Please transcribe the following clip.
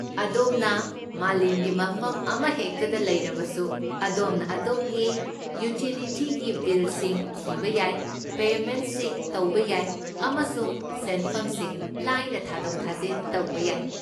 ꯑꯗꯣꯝꯅ ꯃꯥꯂꯦꯝꯒꯤ ꯃꯐꯝ ꯑꯃꯍꯦꯛꯇꯗ ꯂꯩꯔꯕꯁꯨ, ꯑꯗꯣꯝꯅ ꯑꯗꯣꯝꯒꯤ ꯌꯨꯇꯤꯂꯤꯇꯤꯒꯤ ꯕꯤꯜꯁꯤꯡ ꯊꯤꯕ ꯌꯥꯏ, ꯄꯦꯃꯦꯟꯠꯁꯤꯡ ꯇꯧꯕ ꯌꯥꯏ, ꯑꯃꯁꯨꯡ ꯁꯦꯟꯐꯝꯁꯤꯡ ꯂꯥꯏꯅ ꯊꯥꯗꯣꯛ ꯊꯥꯖꯤꯟ ꯇꯧꯕ ꯌꯥꯏ꯫